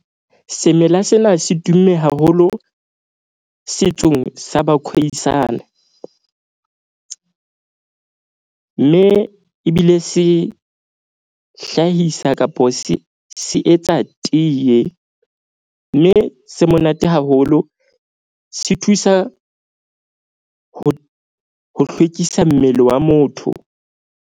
Semela sena se tumme haholo setsong sa ba Khoi San. Mme ebile se hlahisa kapo se se etsa tiye. Mme se monate haholo se thusa ho hlwekisa mmele wa motho.